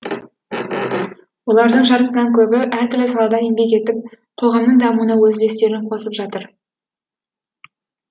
олардың жартысынан көбі әртүрлі салада еңбек етіп қоғамның дамуына өз үлестерін қосып жатыр